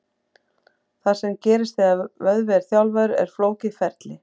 Það sem gerist þegar vöðvi er þjálfaður er flókið ferli.